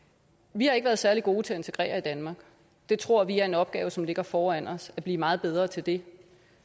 vi har ikke været særlig gode til at integrere i danmark det tror vi er en opgave som ligger foran os at blive meget bedre til det